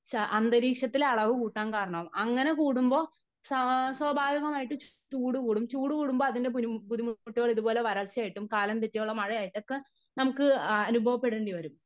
അന്തരീക്ഷത്തിലെ അളവ് കൂട്ടാൻ കാരണം. അങ്ങനെ കൂടുമ്പോ സ്വാഭാവികമായിട്ട് ചൂട് കൂടും . ചൂട് കൂടുമ്പോ അതിന്റെ ബുദ്ധിമുട്ടുകൾ ഇതുപോലെ വരൾച്ച ആയിട്ടും കാലം തെറ്റിയുള്ള മഴയായിട്ടും ആയിട്ടും ഒക്കെ ഉള്ള നമുക്ക് അനുഭവ പ്പെടേണ്ടിവരും.